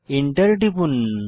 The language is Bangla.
এন্টার টিপুন